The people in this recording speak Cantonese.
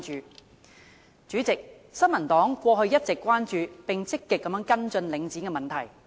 代理主席，新民黨過去一直關注並積極跟進領展的問題。